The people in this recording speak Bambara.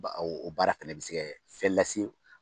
Ba o o baara fɛnɛ bɛ se kɛ fɛn lase